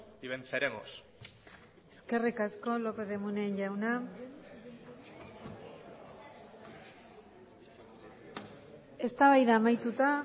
y venceremos eskerrik asko lópez de munain jauna eztabaida amaituta